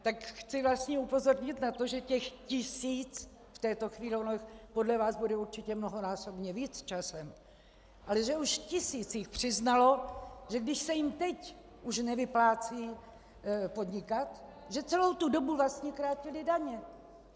Tak chci vlastně upozornit na to, že těch tisíc v této chvíli - ono jich podle vás bude určitě mnohonásobně víc časem - ale že už tisíc jich přiznalo, že když se jim teď už nevyplácí podnikat, že celou tu dobu vlastně krátili daně.